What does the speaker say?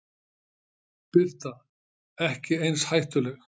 Birta: Ekki eins hættuleg?